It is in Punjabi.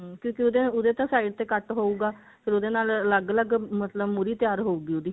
ਕਿਉਂਕਿ ਉਹਦੇ ਉਹਦੇ ਤਾਂ side ਤੇ cut ਹੋਊਗਾ ਫੇਰ ਉਹਦੇ ਨਾਲ ਅਲੱਗ ਅਲੱਗ ਮਤਲਬ ਮੁਹਰੀ ਤਿਆਰ ਹੋਊਗੀ ਉਹਦੀ